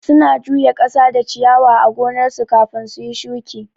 Su na juya kasa da ciyawa a gonnar su kafin suyi shuki